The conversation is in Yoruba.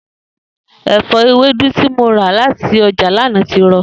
È̩fó̩ ewédú tí mo rà láti o̩jà lánàá ti ro̩